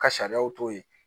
Ka sariyaw to yen